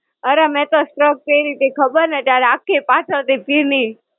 અરે મેં તો shrug પહેરી તી ખબર ને ત્યારે આખી પાછળથી ભીની.